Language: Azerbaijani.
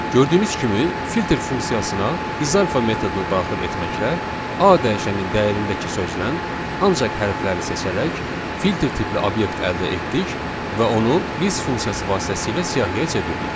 Gördüyünüz kimi, filter funksiyasına isalpha metodunu daxil etməklə A dəyişəninin dəyərindəki sözdən ancaq hərfləri seçərək filter tipli obyekt əldə etdik və onu list funksiyası vasitəsilə siyahıya çevirdik.